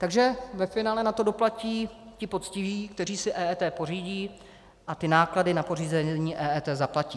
Takže ve finále na to doplatí ti poctiví, kteří si EET pořídí a ty náklady na pořízení EET zaplatí.